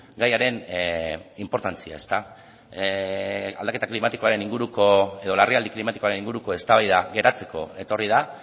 gaiaren inportantzia aldaketa klimatikoaren inguruko edo larrialdi klimatikoaren inguruko eztabaida geratzeko etorri da